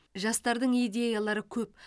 жастардың идеялары көп